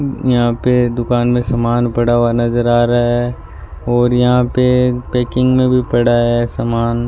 यहां पे दुकान में सामान पड़ा हुआ नजर आ रहा है और यहां पे पैकिंग में भी पड़ा है सामान।